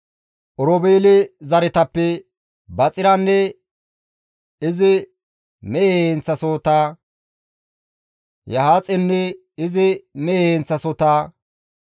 Oroobeele zaretappe Baxiranne izi mehe heenththasohota, Yahaaxenne izi mehe heenththasohota,